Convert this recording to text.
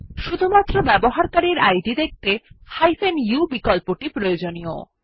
শুধুমাত্র ব্যবহারকারীর ইদ দেখতে u বিকল্পটি প্রয়োজনীয়